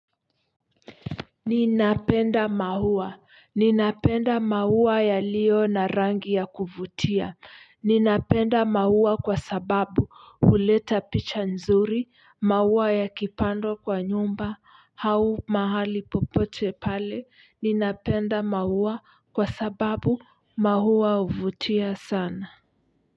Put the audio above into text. Ninapenda maua. Ninapenda maua yaliyo na rangi ya kuvutia. Ninapenda maua kwa sababu huleta picha nzuri, maua yakipandwa kwa nyumba, hau mahali popote pale, ninapenda maua kwa sababu mahua huvutia sana.